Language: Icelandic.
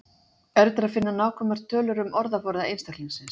Erfitt er að finna nákvæmar tölur um orðaforða einstaklingsins.